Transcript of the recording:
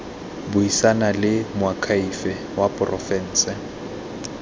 buisana le moakhaefe wa porofense